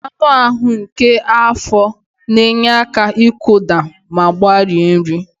Anụ ahụ nke afọ na-enye aka ịkụda ma gbarie nri.